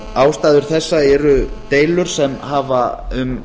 ástæður þessa eru deilur sem hafa um